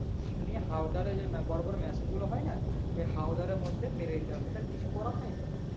নিয়ে হাওদারে যে বড়ো বড়ো machine গুলো হয় না ওই হাওদারের মধ্যে মেরে দিতে হবে তাছাড়া কিছু করার নেই তো